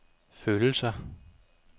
følelser